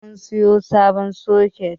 Har mun siyo sabon soket